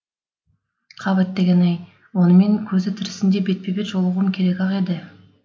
қап әттеген ай онымен көзі тірісінде бетпе бет жолығуым керек ақ еді